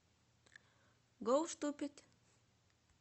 гоу ступид